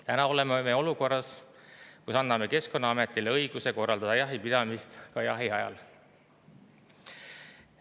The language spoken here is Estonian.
Täna oleme olukorras, kus anname Keskkonnaametile õiguse korraldada jahipidamist ka jahiajal.